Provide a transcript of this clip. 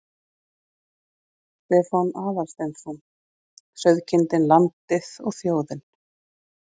Stefán Aðalsteinsson: Sauðkindin, landið og þjóðin.